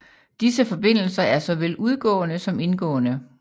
Disse forbindelser er såvel udgående som indgående